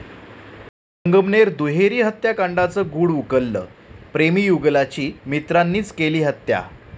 संगमनेर दुहेरी हत्याकांडाचं गूढ उकललं, प्रेमीयुगुलाची मित्रांनीच केली हत्या